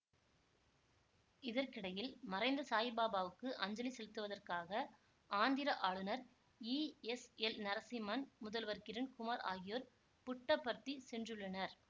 இதற்கிடையில் மறைந்த சாயிபாபாவுக்கு அஞ்சலி செலுத்துவதற்காக ஆந்திர ஆளுநர் ஈஎஸ்எல்நரசிம்மன் முதல்வர் கிரன் குமார் ஆகியோர் புட்டபர்த்தி சென்றுள்ளனர்